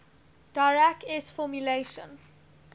dirac s formulation